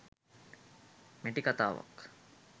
මැටි කතාවක්